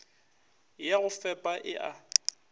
ya go fepa e a